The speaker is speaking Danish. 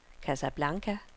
Casablanca